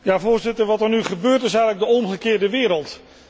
Voorzitter, wat er nu gebeurt, is eigenlijk de omgekeerde wereld.